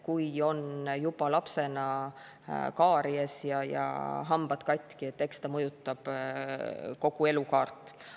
Kui on juba lapsena kaaries ja hambad katki, eks see mõjutab kogu elukaart.